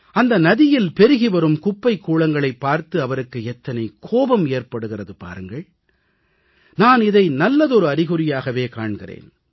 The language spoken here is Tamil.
அந்த நதியில் பெருகிவரும் குப்பைக் கூளங்களைப் பார்த்து அவருக்கு எத்தனை கோபம் ஏற்படுகிறது பாருங்கள் நான் இதை நல்லதொரு அறிகுறியாகவே காண்கிறேன்